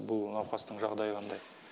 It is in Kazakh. бұл науқастың жағдайы қандай